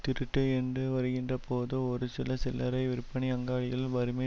திருட்டு என்று வருகின்ற போது ஒரு சில சில்லறை விற்பனை அங்காடிகளில் வறுமை